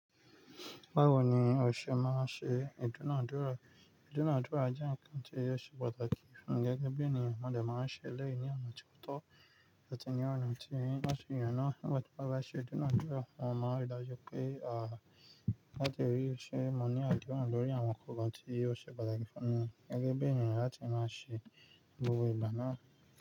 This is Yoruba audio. Báwo ni o ṣe máa ń ṣe ìdúnàádúrà? Ìdúnàádúrà jẹ́ nǹkan tí ó ṣe pàtàkì fún mi gẹ́gẹ́ bí ènìyàn, mo dẹ̀ máa ń ṣe eleyi ní ọ̀nà tó tọ́ àti ní ọ̀nà tí lo ba si ye náà. Nígbà tí mo bá ṣe ìdúnàádúrà, mo máa n rí dájú pé, à, láti rí i ṣe mọ̀ ní àdéhùn lórí àwọn nkankan tí ó ṣe pàtàkì fún wọn gẹ́gẹ́ bí ènìyàn láti máa ṣe gbogbo ìgbà náà.